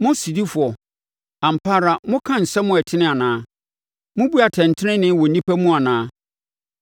Mo sodifoɔ, ampa ara, moka asɛm a ɛtene anaa? Mobu atɛntenenee wɔ nnipa mu anaa?